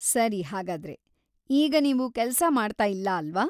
ಸರಿ, ಹಾಗಾದ್ರೆ, ಈಗ ನೀವು ಕೆಲಸ ಮಾಡ್ತಾ ಇಲ್ಲ ಅಲ್ವಾ?